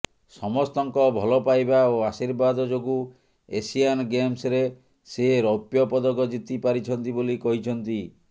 ସମସ୍ତଙ୍କ ଭଲପାଇବା ଓ ଆଶୀର୍ବାଦ ଯୋଗୁଁ ଏସିଆନ୍ ଗେମ୍ସରେ ସେ ରୌପ୍ୟ ପଦକ ଜିତି ପାରିଛନ୍ତି ବୋଲି କହିଛନ୍ତି